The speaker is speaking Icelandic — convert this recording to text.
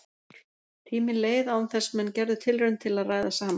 Tíminn leið án þess menn gerðu tilraun til að ræða saman.